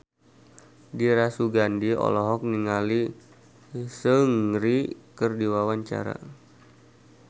Dira Sugandi olohok ningali Seungri keur diwawancara